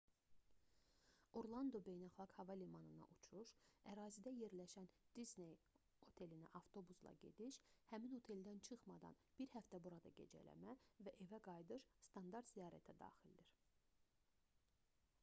orlando beynəlxalq hava limanına uçuş ərazidə yerləşən disney otelinə avtobusla gediş həmin oteldən çıxmadan bir həftə burada gecələmə və evə qayıdış standart ziyarətə daxildir